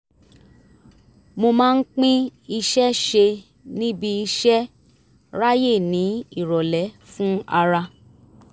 mo máa pín iṣẹ́ ń ṣe níbi iṣẹ́ ráyè ní ìrọ̀lẹ́ fún ara